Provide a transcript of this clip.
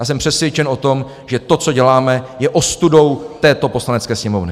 Já jsem přesvědčen o tom, že to, co děláme, je ostudou této Poslanecké sněmovny.